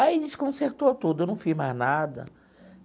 Aí a gente consertou tudo, eu não fiz mais nada.